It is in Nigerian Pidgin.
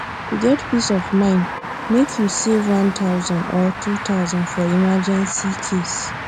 to get peace of mind make you save 1000 or 2000 for emergency case